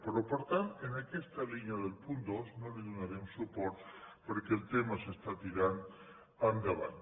però per tant en aquesta línia del punt dos no li donarem suport perquè el tema s’està tirant endavant